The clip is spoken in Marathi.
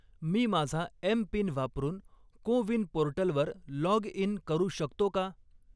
मी माझा एम.पिन वापरून को विन पोर्टलवर लॉग इन करू शकतो का?